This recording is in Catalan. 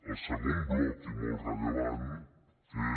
el segon bloc i molt rellevant és